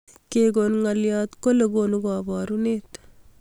Kekon ngolyot kolei konu koborunet